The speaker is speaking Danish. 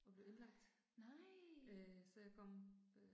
Nej, nej